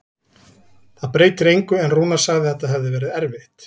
Það breytir engu, en Rúnar sagði að þetta hefði verið erfitt.